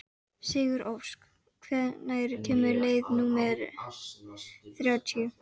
Sigurósk, hvenær kemur leið númer þrjátíu?